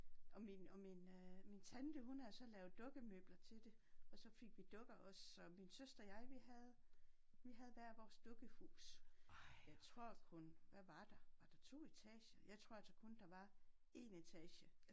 Og min og min øh min tante hun havde så lavet dukkemøbler til det og så fik vi dukker også så min søster og jeg vi havde vi havde hver vores dukkehus. Jeg tror kun hvad var der? Var der 2 etager? Jeg tror altså kun der var 1 etage